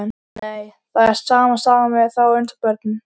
Nei, það er sama sagan með þá eins og börnin.